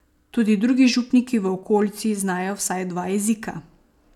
Tudi drugi župniki v okolici znajo vsaj dva jezika.